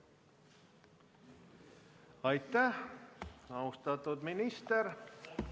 Aitäh, austatud minister!